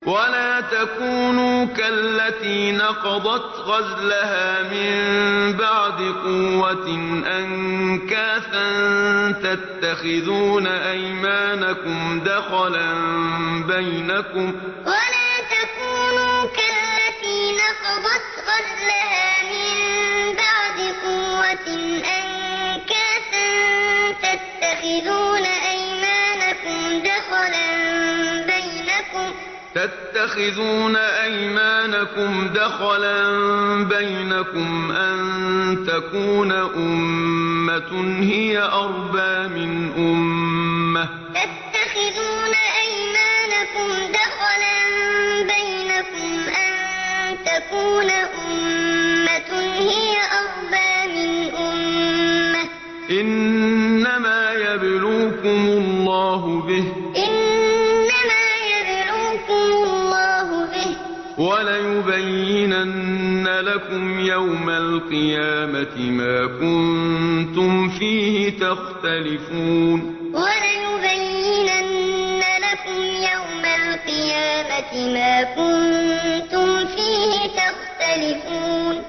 وَلَا تَكُونُوا كَالَّتِي نَقَضَتْ غَزْلَهَا مِن بَعْدِ قُوَّةٍ أَنكَاثًا تَتَّخِذُونَ أَيْمَانَكُمْ دَخَلًا بَيْنَكُمْ أَن تَكُونَ أُمَّةٌ هِيَ أَرْبَىٰ مِنْ أُمَّةٍ ۚ إِنَّمَا يَبْلُوكُمُ اللَّهُ بِهِ ۚ وَلَيُبَيِّنَنَّ لَكُمْ يَوْمَ الْقِيَامَةِ مَا كُنتُمْ فِيهِ تَخْتَلِفُونَ وَلَا تَكُونُوا كَالَّتِي نَقَضَتْ غَزْلَهَا مِن بَعْدِ قُوَّةٍ أَنكَاثًا تَتَّخِذُونَ أَيْمَانَكُمْ دَخَلًا بَيْنَكُمْ أَن تَكُونَ أُمَّةٌ هِيَ أَرْبَىٰ مِنْ أُمَّةٍ ۚ إِنَّمَا يَبْلُوكُمُ اللَّهُ بِهِ ۚ وَلَيُبَيِّنَنَّ لَكُمْ يَوْمَ الْقِيَامَةِ مَا كُنتُمْ فِيهِ تَخْتَلِفُونَ